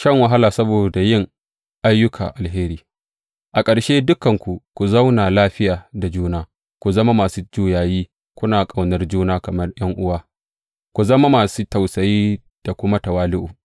Shan wahala saboda yin ayyuka alheri A ƙarshe, dukanku ku zauna lafiya da juna; ku zama masu juyayi, kuna ƙaunar juna kamar ’yan’uwa, ku zama masu tausayi da kuma tawali’u.